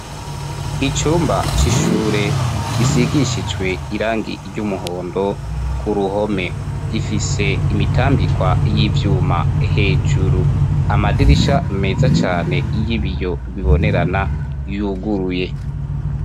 Icumba c'ishure gisigishijwe irangi ry'umuhondo ku ruhome, gifise imitambikwa y'ivyuma hejuru. Amadirisha meza cane y'ibiyo bibonerana yuguruye.